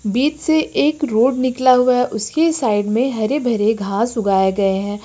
बीच से एक रोड निकला हुआ है उसके साइड में हरे भरे घास उगाए गए हैं।